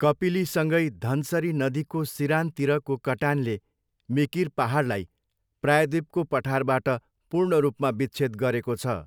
कपिलीसँगै धनसरी नदीको सिरानतिरको कटानले मिकिर पाहाडलाई प्रायःद्वीपको पठारबाट पूर्ण रूपमा विच्छेद गरेको छ।